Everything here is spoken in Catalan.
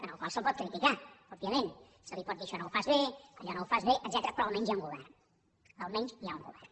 al qual es pot criticar òbviament se li pot dir això no ho fas bé allò no ho fas bé etcètera però almenys hi ha un govern almenys hi ha un govern